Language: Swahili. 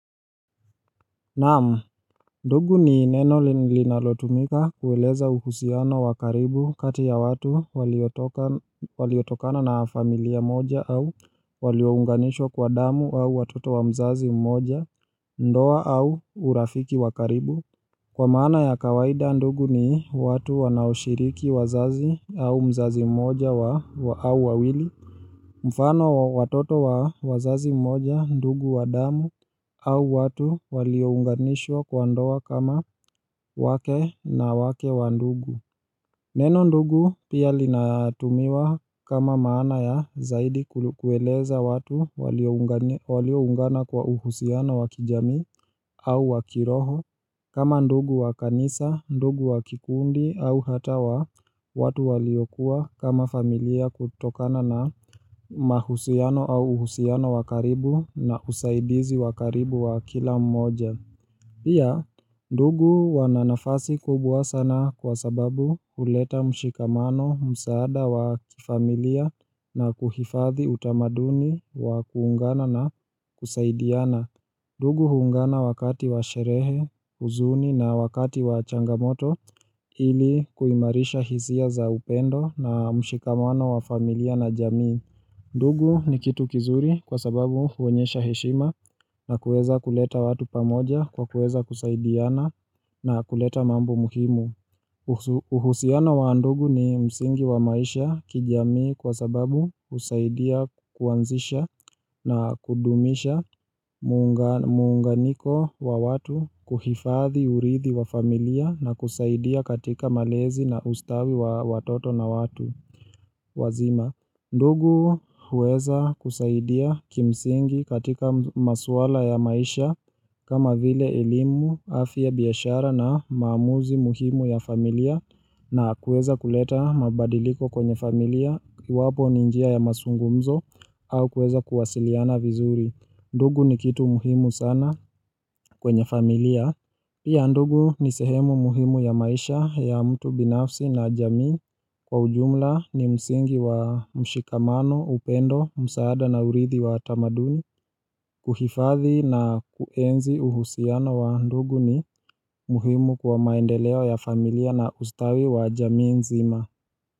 Naam, ndugu ni neno linalotumika kueleza uhusiano wakaribu kati ya watu waliotokana na familia moja au waliounganishwa kwa damu au watoto wa mzazi mmoja ndoa au urafiki wakaribu Kwa maana ya kawaida ndugu ni watu wanaoshiriki wazazi au mzazi mmoja au wawili mfano watoto wa wazazi mmoja ndugu wa damu au watu waliounganishwa kwa ndoa kama wake na wake wa ndugu Neno ndugu pia linaatumiwa kama maana ya zaidi kueleza watu walioungana kwa uhusiano wakijamii au wakiroho kama ndugu wakanisa, ndugu wakikundi au hata wa watu waliokuwa kama familia kutokana na mahusiano au uhusiano wakaribu na usaidizi wakaribu wa kila mmoja. Pia, ndugu wananafasi kubwa sana kwa sababu huleta mshikamano msaada wa familia na kuhifadhi utamaduni wa kuungana na kusaidiana. Ndugu huungana wakati wa sherehe, uzuni na wakati wa changamoto ili kuimarisha hisia za upendo na mshikamano wa familia na jamii. Ndugu ni kitu kizuri kwa sababu huonyesha heshima na kueza kuleta watu pamoja kwa kueza kusaidiana na kuleta mambo muhimu uhusiano wa ndugu ni msingi wa maisha kijamii kwa sababu usaidia kuanzisha na kudumisha muunganiko wa watu kuhifadhi uridhi wa familia na kusaidia katika malezi na ustawi wa watoto na watu wazima. Ndugu huweza kusaidia kimsingi katika masuala ya maisha kama vile elimu afya biashara na maamuzi muhimu ya familia na kuweza kuleta mabadiliko kwenye familia iwapo ni njia ya masungumzo au kuweza kuwasiliana vizuri. Ndugu ni kitu muhimu sana kwenye familia. Pia ndugu ni sehemu muhimu ya maisha ya mtu binafsi na jamii kwa ujumla ni msingi wa mshikamano, upendo, msaada na uridhi wa tamaduni kuhifadhi na kuenzi uhusiano wa ndugu ni muhimu kwa maendeleo ya familia na ustawi wa jamii nzima.